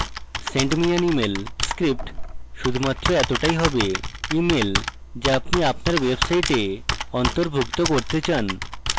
send me an email script শুধুমাত্র এতটাই হবেemail যা আপনি আপনার website অন্তর্ভুক্ত করতে চান